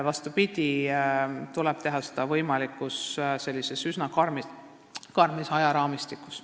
Vastupidi, seda tuleb teha üsna karmis ajaraamistikus.